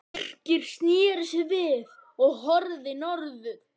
Birkir sneri sér við og horfði í norður.